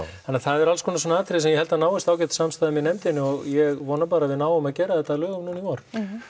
þannig að það eru alls konar svona atriði sem ég held að náist ágæt samstaða um í nefndinni og ég vona bara að við náum að gera þetta að lögum núna í vor